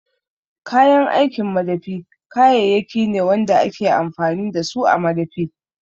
Kayan aikin madafi kayayyaki ne wanda ake amfani da su a madafi